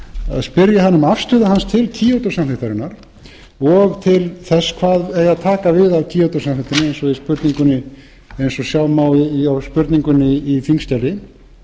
að spyrja hann um afstöðu hans til kyoto samþykktarinnar og til þess hvað eigi að taka við af kyoto samþykktinni eins og sjá má af spurningunni í þingskjali